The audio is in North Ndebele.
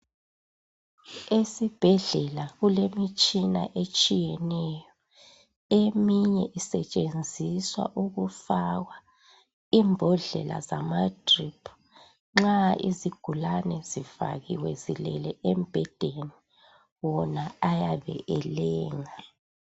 Esibhedlela kulemitshina etshiyeneyo eminye isentshenziswa ukufakwa imbodlela zama drip nxa izigulane zifakiwe zilele embedeni wona ayabe elenga